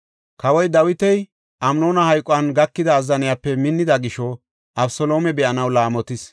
Kawoy Dawiti Amnoona hayquwan gakida azzaniyape minnida gisho, Abeseloome be7anaw laamotis.